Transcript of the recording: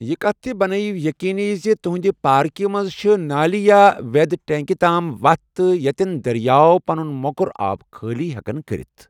یہِ کتھ تہِ بنٲیو یقینی زِ تُہنٛدِ پارکہِ منٛز چھِ نٲلہِ یا وٮ۪د ٹینکہِ تام وتھ تہِ یتین دریاو پَنُن موٚکُر آب خٲلی ہیٚکَن کٔرِتھ ۔